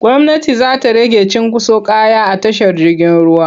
Gwmnati za ta rage cunkoson kaya a tashar jirgin ruwa.